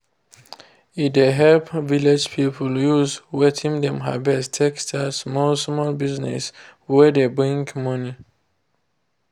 e dey help village people use wetin dem harvest take start small-small business wey dey bring money